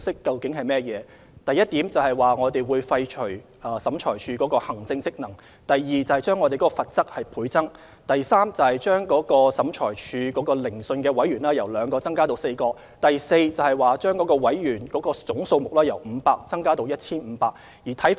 該等共識包括：第一，廢除審裁處的行政職能；第二，將有關罰則倍增；第三，將每次聆訊的審裁委員由兩名增至4名；第四，將審裁委員總人數由500增至 1,500。